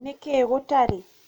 nĩkĩĩ gũtarĩ?